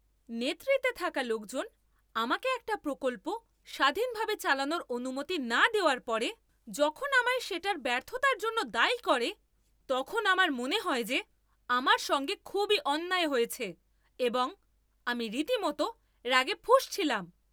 নেতৃত্বে থাকা লোকজন আমাকে একটা প্রকল্প স্বাধীনভাবে চালানোর অনুমতি না দেওয়ার পরে যখন আমায় সেটার ব্যর্থতার জন্য দায়ী করে, তখন আমার মনে হয় যে আমার সঙ্গে খুবই অন্যায় হয়েছে এবং আমি রীতিমতো রাগে ফুঁসছিলাম।